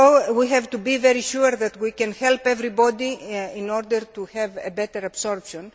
We have to be very sure that we can help everybody in order to have better absorption.